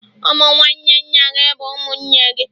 Ụmụ nwanne nna gị bụ ụmụnne gị